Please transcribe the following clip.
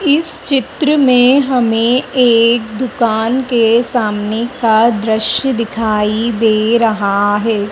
इस चित्र में हमें एक दुकान के सामने का दृश्य दिखाई दे रहा है।